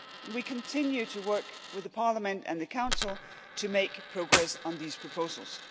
We continue to work with the Parliament and the Council to make progress on these proposals.